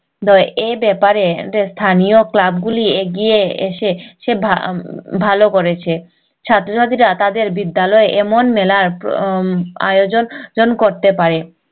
এই ব্যাপারে এদের স্থানীয় club গুলি এগিয়ে এসে ভালো করেছে ছাত্র ছাত্রীরা তাদের বিদ্যালয়ে এমন মেলার আয়োজন যেন করতে পারে